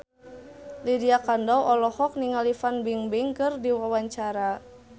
Lydia Kandou olohok ningali Fan Bingbing keur diwawancara